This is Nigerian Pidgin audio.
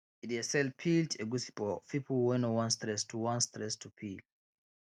e dey sell peeled egusi for people wey no wan stress to wan stress to peel